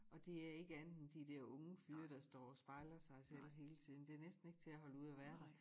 Og det er ikke andet end de dér unge fyre der står og spejler sig selv hele tiden det næsten ikke til at holde ud at være der